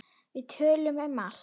Við töluðum um allt.